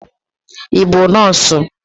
Ị bụ nọọsụ?